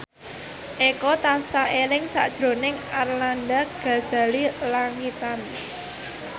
Eko tansah eling sakjroning Arlanda Ghazali Langitan